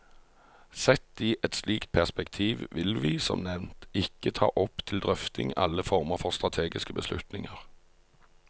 Sett i et slikt perspektiv vil vi, som nevnt, ikke ta opp til drøfting alle former for strategiske beslutninger.